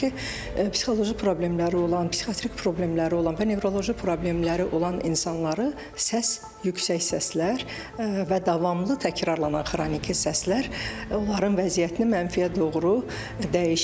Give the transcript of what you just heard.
Çünki psixoloji problemləri olan, psixiatrik problemləri olan və nevroloji problemləri olan insanları səs, yüksək səslər və davamlı təkrarlanan xroniki səslər onların vəziyyətini mənfiyə doğru dəyişir.